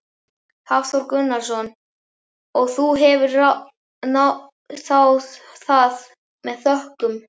Hafþór Gunnarsson: Og þú hefur þáð það með þökkum?